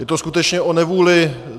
Je to skutečně o nevůli.